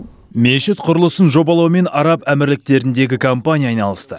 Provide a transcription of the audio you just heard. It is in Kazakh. мешіт құрылысын жобалаумен араб әмірліктеріндегі компания айналысты